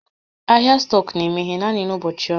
Ahịa stọkụ na-emeghe naanị n'ụbọchị ọrụ